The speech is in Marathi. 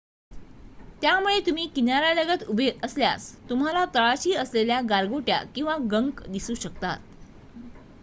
त्यामुळे तुम्ही किनार्‍यालगत उभे असल्यास तुम्हाला तळाशी असलेल्या गारगोट्या किंवा गंक दिसू शकतात